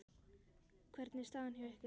Hvernig er staðan hjá ykkur?